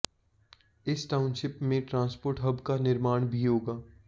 इस टाउनशिप में transport hub का निर्माण भी होगा